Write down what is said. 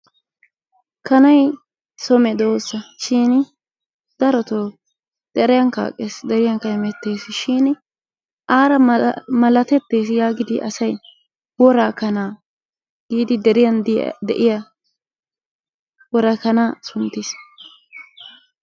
Kanay so medoosa shin darotoo deriyankka aqees. Deriyankka hemetetees shin aara malatetees yaagidi asay wora kanaa giidi deriyan de'iya worakanaa sunttiis.